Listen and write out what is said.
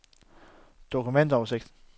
dokumentoversigt